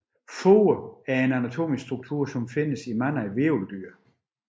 Fod er en anatomisk struktur der findes i mange hvirveldyr